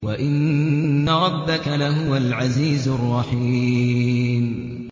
وَإِنَّ رَبَّكَ لَهُوَ الْعَزِيزُ الرَّحِيمُ